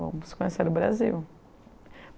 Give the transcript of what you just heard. Vamos conhecer o Brasil.